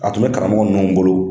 A tun bɛ karamɔgɔ ninnu bolo